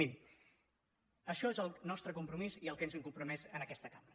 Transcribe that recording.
miri això és el nostre compromís i el que ens hem compromès en aquesta cambra